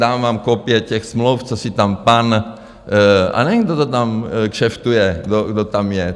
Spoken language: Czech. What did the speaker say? Dám vám kopie těch smluv, co si tam pan - a nevím, kdo to tam kšeftuje, kdo tam je.